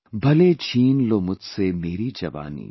Bhale chheen lo mujhse meri jawani